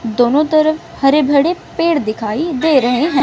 दोनों तरफ हर भड़े पेड़ दिखाई दे रहे हैं।